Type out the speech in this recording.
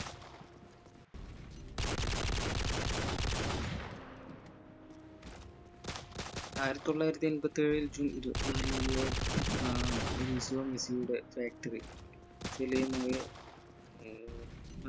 ആയിരത്തി തൊള്ളായിരത്തി എമ്പത്തേഴിൽ ജൂൺ ഇരുപത്തിനാലിന് അഹ് മെസ്സിയുടെ factory മായ